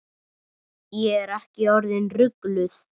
Ég er ekki orðin rugluð.